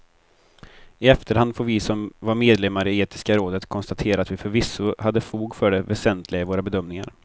I efterhand får vi som var medlemmar i etiska rådet konstatera att vi förvisso hade fog för det väsentliga i våra bedömningar.